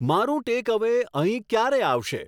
મારું ટેકઅવે અહીં ક્યારે આવશે